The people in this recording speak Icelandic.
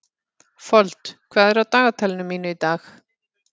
Fold, hvað er á dagatalinu mínu í dag?